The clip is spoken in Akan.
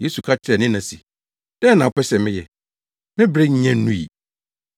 Yesu ka kyerɛɛ ne na se, “Dɛn na wopɛ sɛ meyɛ? Me bere nnya nnui.”